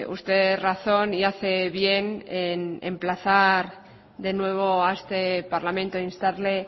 usted razón y hace bien en emplazar de nuevo a este parlamento instarle